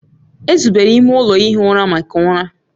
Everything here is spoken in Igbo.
Ezubere ime ụlọ ihi ụra maka ụra